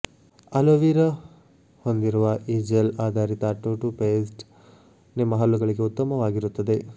hello vera ಹೊಂದಿರುವ ಈ gel ಆಧಾರಿತ ಟೂಟೂಥ್ಪೇಸ್ಟ್ ನಿಮ್ಮ ಹಲ್ಲುಗಳಿಗೆ ಉತ್ತಮವಾಗಿರುತ್ತದೆ